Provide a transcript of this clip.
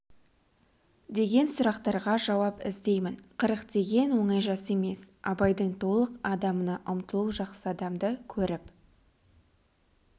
деген сұрақтарға жауап іздеймін қырық деген оңай жас емес абайдың толық адамына ұмтылу жақсы адамды көріп